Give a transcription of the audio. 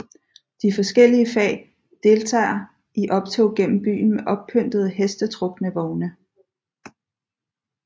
De forskellige fag deltager i optog gennem byen med oppyntede hestetrukne vogne